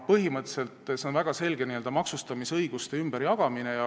Põhimõtteliselt on see väga selge n-ö maksustamisõiguste ümberjagamine.